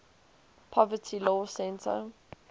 poverty law center